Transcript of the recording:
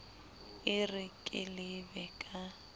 e re ke lebe ka